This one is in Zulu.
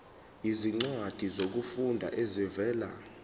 izincwadi zokufunda ezivela